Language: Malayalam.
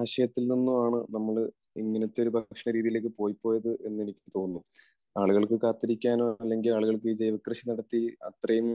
ആശയത്തിൽ നിന്നും ആണ് നമ്മൾ ഇങ്ങനത്തെ ഒരു ഭക്ഷണ രീതിയിലേക്ക് പൊയ്‌പ്പോയത് എന്ന് എനിക്ക് തോന്നുന്നു. ആളുകൾക്ക് കാത്തിരിക്കാനോ, അല്ലെങ്കിൽ ആളുകൾക്ക് ഈ ജൈവകൃഷി നടത്തി അത്രയും